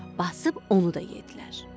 Basıb onu da yeddilər.